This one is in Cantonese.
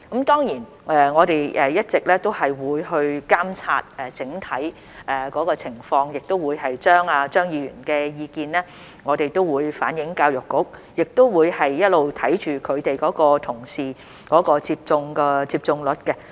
當然，我們一直也會監察整體情況，亦會把張議員的意見向教育局反映，也會一直看着他們的同事的接種率。